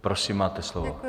Prosím, máte slovo.